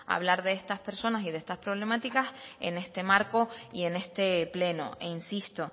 hablar de estas personas y de estas problemáticas en este marco y en este pleno e insisto